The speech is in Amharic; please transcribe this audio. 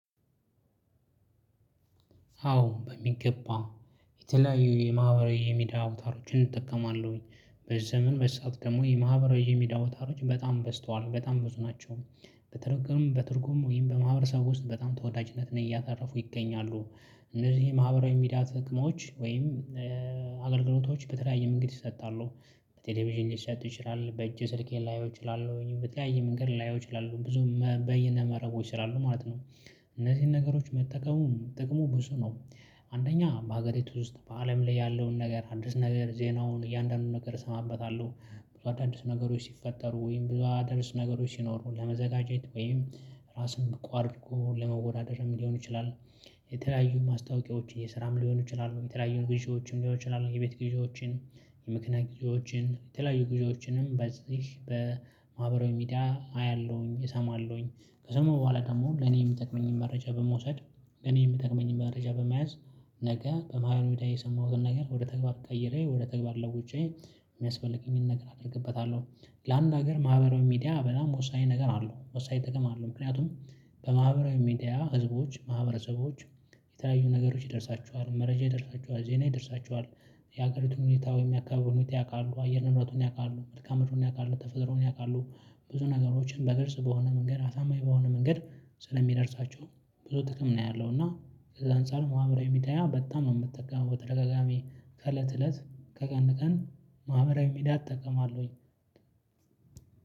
አዎ በሚገባ የተለያዩ የማህበራዊ የሚዲያ አውታሮችን እጠቀማለሁኝ በዘመን መሳቅ ደግሞ የማህበራዊ የሚዲያ አውታሮች በጣም በዝተዋል በጣም ብዙ ናቸው። በተረጎም በትርጉም ወይም በማህበረሰቡ ውስጥ በጣም ተወዳጅነት ነው እያተረፉ ይገኛሉ። እነዚህ ማህበራዊ ሚዲያ ጥቅሞች ወይም አገልግሎቶች በተለያየ መንገድ ይሰጣሉ። በቴሌቪዥን ሊሰጥ ይችላል በእጅ ስልኬን ላየው እችላለሁ በተለያየ መንገድ ላየው እችላለሁ ብዙ በየነ መረቦች ስላሉ ማለት ነው። እነዚህን ነገሮች መጠቀሙን ጥቅሙ ብዙ ነው። አንደኛ በሀገሪቱ ውስጥ በአለም ላይ ያለውን ነገር አዲስ ነገር ዜናውን እያንዳንዱን ነገር እሰማበታለሁ። ብዙ አዳዲስ ነገሮች ሲፈጠሩ ወይም ብዙ አዳዲስ ነገሮች ሲኖሩ ለመዘጋጀት ወይም ራስን ብቁ አድርጎ ለመወዳደርም ሊሆን ይችላል። የተለያዩ ማስታወቂያዎች የስራም ሊሆን ይችላሉ የተለያዩን ጊዜዎችም ሊሆኑ ይችላሉ የቤት ጊዜዎችን የምክንያት ጊዜዎችን የተለያዩ ጊዜዎችንም በዚህ በማህበራዊ ሚዲያ አያለሁኝ እሰማለሁኝ። ከሰማው በኋላ ደግሞ ለኔ የምጠቅመኝን መረጃ በመውሰድ። እኔ የምጠቅመኝን መረጃ በመያዝ። ነገ በማህበራዊ ሚዲያ የሰማሁትን ነገር ወደ ተግባር ቀይሬ ወደ ተግባር ለውጬ የሚያስፈልገኝን ነገር አደርግበታለሁ። ለአንድ ሀገር ማህበራዊ ሚዲያ በላም ወሳኝ ነገር አለው ወሳኝ ጥቅም አለው። ምክንያቱም በማህበራዊ ሚዲያ ህዝቦች ማህበረሰቦች የተለያዩ ነገሮች ይደርሳቸዋል መረጃ ይደርሳቸዋል ዜና ይደርሳቸዋል። የሀገሪቱን ሁኔታ ወይም ያካበቱት ያውቃሉ አየር ንምረቱን ያውቃሉ መልካም ምድሩን ያውቃሉ ተፈጥሮን ያውቃሉ። ብዙ ነገሮችን በግልጽ በሆነ መንገድ አሳማኝ በሆነ መንገድ ስለሚደርሳቸው ብዙ ጥቅም ነው ያለው። እና ከዛ አንፃር ማህብራዊ ሚዲያ በጣም ነው የምትጠቀመው። ተረጋጋሚ ከእለት እለት ከቀን ቀን ማህበራዊ ሚዲያ እጠቀማለሁኝ።